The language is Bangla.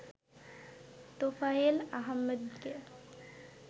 তোফায়েল আহমেদকে